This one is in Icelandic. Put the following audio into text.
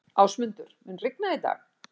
Ásmundur, mun rigna í dag?